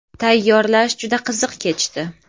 Tayyorlash juda qiziq kechdi”.